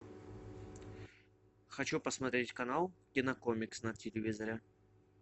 хочу посмотреть канал кинокомикс на телевизоре